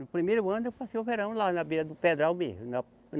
No primeiro ano eu passei o verão lá na beira do Pedral mesmo.